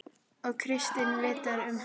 Og Kristín vitjar um hana.